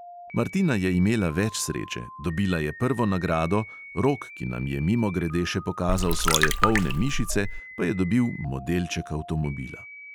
Martina je imela več sreče, dobila je prvo nagrado, rok, ki nam je mimogrede še pokazal svoje polne mišice, pa je dobil modelček avtomobila.